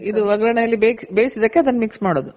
ಇದು ಒಗ್ಗರಣೆ ಅಲ್ಲಿ ಬೇಯ್ಸಿ ಅದಕ್ಕೆ mix ಮಾಡೋದು